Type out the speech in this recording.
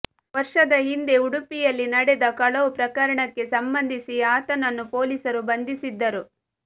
ವರ್ಷದ ಹಿಂದೆ ಉಡುಪಿಯಲ್ಲಿ ನಡೆದ ಕಳವು ಪ್ರಕರಣಕ್ಕೆ ಸಂಬಂಧಿಸಿ ಆತನನ್ನು ಪೊಲೀಸರು ಬಂಧಿಸಿದ್ದರು